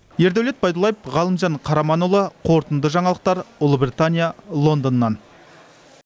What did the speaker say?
ердәулет байдуллаев ғалымжан қараманұлы қорытынды жаңалықтар ұлыбритания лондоннан